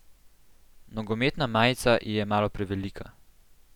Nogometna majica ji je malo prevelika.